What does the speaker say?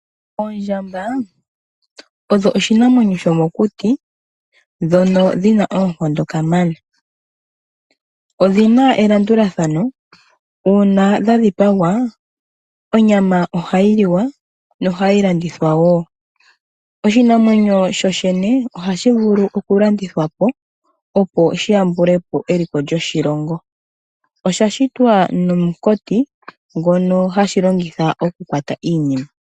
Oondjamba odho iinamwenyo yomokuti, dhono dhi na oonkondo kamana. Odhi na elandulathano, nuuna dha dhipagwa onyama oha yi liwa, noha yi landithwa woo. Oshinamwenyo shoshene oha shi vulu oku landithwa po, opo shi yambule po eliko lyoshilongo. Osha shitwa nomukati ngoka ha shi longitha oku kwata iinima.